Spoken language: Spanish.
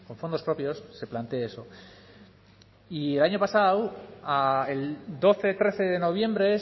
fondos propios se plantee eso y el año pasado a doce trece de noviembre